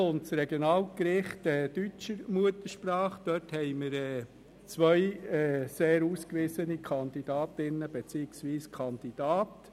Zum Regionalgericht und die deutschsprachige Stelle: Hier haben wir zwei sehr ausgewiesene Kandidatinnen beziehungsweise Kandidaten.